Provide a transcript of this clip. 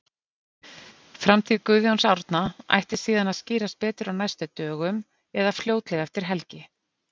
Framtíð Guðjóns Árna ætti síðan að skýrast betur á næstu dögum eða fljótlega eftir helgi.